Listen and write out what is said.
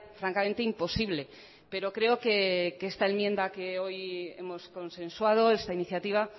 francamente imposible pero creo que esta enmienda que hoy hemos consensuado esta iniciativa